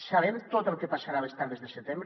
sabem tot el que passarà les tardes de setembre